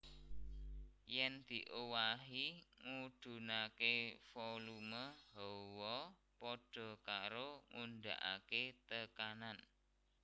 Yèn diowahi ngudhunaké volume hawa padha karo ngundhakaké tekanan